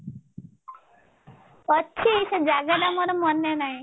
ଅଛି ସେ ଜାଗା ଟା ମୋର ମାନେ ନାହିଁ